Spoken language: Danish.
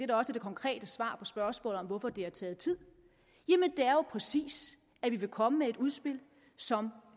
da også det konkrete svar på spørgsmålet om hvorfor det har taget tid er jo præcis at vi vil komme med et udspil som